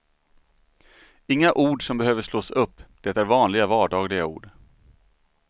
Inga ord som behöver slås upp, det är vanliga vardagliga ord.